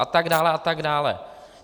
A tak dále a tak dále.